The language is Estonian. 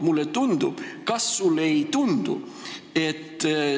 Mulle tundub – kas sulle ei tundu?